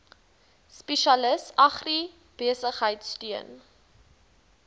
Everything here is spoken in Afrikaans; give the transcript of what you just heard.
spesialis agribesigheid steun